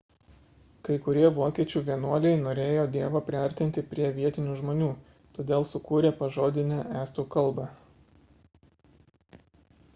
kai kurie vokiečių vienuoliai norėjo dievą priartinti prie vietinių žmonių todėl sukūrė pažodinę estų kalbą